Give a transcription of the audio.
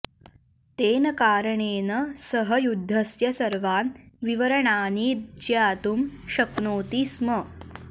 तेन कारणेन सः युद्धस्य सर्वान् विवरणानि ज्ञातुं शक्नोति स्म